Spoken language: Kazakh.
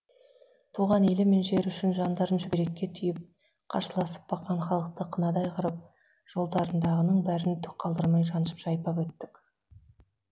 туған елі мен жері үшін жандарын шүберекке түйіп қарсыласып баққан халықты қынадай қырып жолдарындағының бәрін түк қалдырмай жаншып жайпап өттік